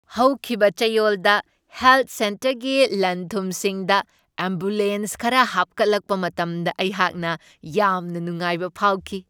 ꯍꯧꯈꯤꯕ ꯆꯌꯣꯜꯗ ꯍꯦꯜꯊ ꯁꯦꯟꯇꯔꯒꯤ ꯂꯟ ꯊꯨꯝꯁꯤꯡꯗ ꯑꯦꯝꯕꯨꯂꯦꯟꯁ ꯈꯔ ꯍꯥꯞꯀꯠꯂꯛꯄ ꯃꯇꯝꯗ ꯑꯩꯍꯥꯛꯅ ꯌꯥꯝꯅ ꯅꯨꯡꯉꯥꯏꯕ ꯐꯥꯎꯈꯤ ꯫